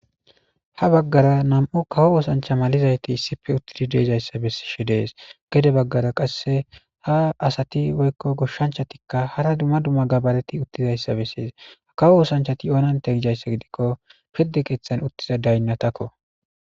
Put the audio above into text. Ha baggara nam7u kawo oosancha malizayti issipe uttidi deezayssa bessishe dees gede baggara qasse ha asati woykko goshshanchatikka hara dumma dumma gabareti uttizayssa bessees ha kawo oosanchati oonante gijayssa gidikko pirde qeeththan uttiza daynnatakko.